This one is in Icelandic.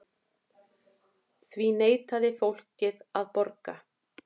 Því neitaði fólkið að borga.